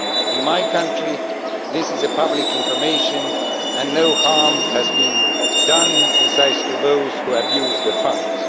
In my country, this is public information and no harm has been done, except to those who abused the funds.